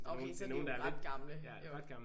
Okay så er de jo ret gamle jo